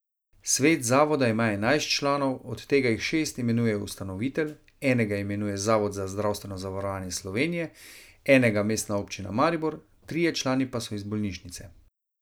Svet zavoda ima enajst članov, od tega jih šest imenuje ustanovitelj, enega imenuje Zavod za zdravstveno zavarovanje Slovenije, enega Mestna občina Maribor, trije člani pa so iz bolnišnice.